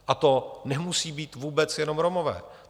A to nemusí být vůbec jenom Romové.